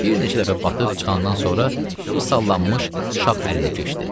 Bir neçə dəfə batıb çıxandan sonra bir sallanmış şax əlinə keçdi.